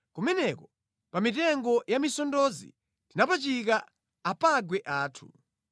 Kumeneko, pa mitengo ya misondozi tinapachika apangwe athu,